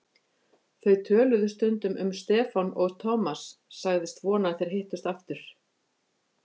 Þau töluðu stundum um Stefán og Thomas sagðist vona að þeir hittust aftur.